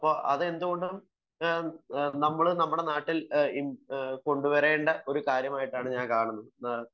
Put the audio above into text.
അതെന്തുകൊണ്ടാണ് നമ്മൾ നമ്മുടെ നാട്ടിൽ കൊണ്ടുവരേണ്ടതായിട്ടുള്ള ഒരു കാര്യമായിട്ടണ് ഞാൻ കാണുന്നത്